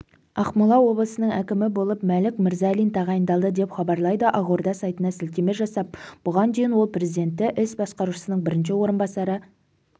ақмола облысының әкімі болып мәлік мырзалин тағайындалды деп хабарлайды ақорда сайтына сілтеме жасап бұған дейін ол президенті іс басқарушысының бірінші орынбасары